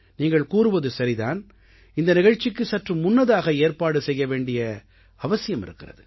நீங்கள் கூறுவது சரிதான் இந்த நிகழ்ச்சிக்கு சற்று முன்னதாக ஏற்பாடு செய்ய வேண்டிய அவசியம் இருக்கிறது